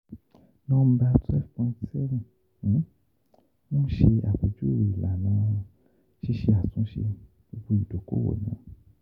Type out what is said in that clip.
Nọmba 12.7 n ṣe apejuwe ilana sise atunṣe gbogbo idokowo naa.